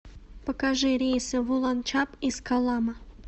покажи рейсы в уланчаб из коллама